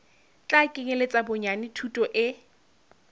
tla kenyeletsa bonyane thuto e